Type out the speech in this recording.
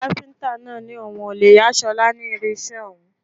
Kápíntà náà ní òun ò lè yà ṣọlá ní irinṣẹ́ òun